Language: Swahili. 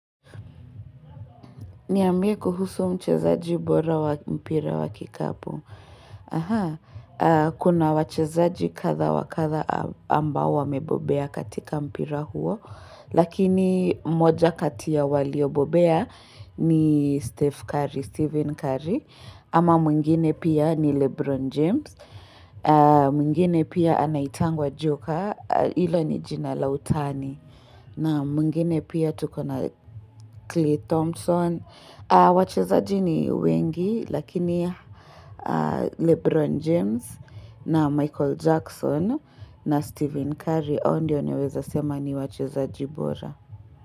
Niambie kuhusu mchezaji bora mpira wa kikapu. Kuna wachezaji kadha wakadha ambao wamebobea katika mpira huo. Lakini moja kati ya walio bobea ni Stephen Curry. Ama mwingine pia ni Lebron James. Mwingine pia anaitangwa Joker. Ila ni jina la utani. Na mwingine pia tuko na Cle Thompson. Wachezaji ni wengi Lakini Lebron James na Michael Jackson na Stephen Curry hao ndio naweza sema ni wachezaji bora.